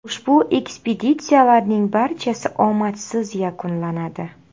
Ushbu ekspeditsiyalarning barchasi omadsiz yakunlanadi.